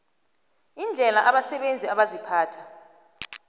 indlela abasebenzi abaziphatha